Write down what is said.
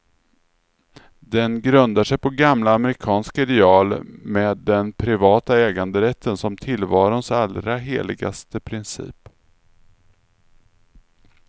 Den grundar sig på gamla amerikanska ideal, med den privata äganderätten som tillvarons allra heligaste princip.